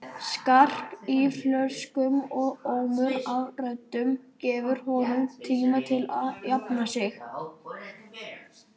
Skark í flöskum og ómur af röddum gefur honum tíma til að jafna sig.